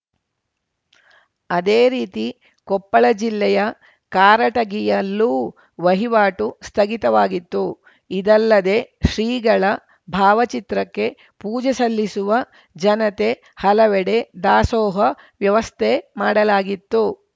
ಅದೇ ರೀತಿ ಕೊಪ್ಪಳ ಜಿಲ್ಲೆಯ ಕಾರಟಗಿಯಲ್ಲೂ ವಹಿವಾಟು ಸ್ಥಗಿತವಾಗಿತ್ತು ಇದಲ್ಲದೇ ಶ್ರೀಗಳ ಭಾವಚಿತ್ರಕ್ಕೆ ಪೂಜೆ ಸಲ್ಲಿಸುವ ಜನತೆ ಹಲವೆಡೆ ದಾಸೋಹ ವ್ಯವಸ್ಥೆ ಮಾಡಲಾಗಿತ್ತು